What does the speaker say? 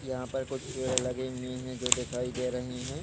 यहाँ पर कुछ पेड़ लगे हुए है जो दिखाई दे रहे है।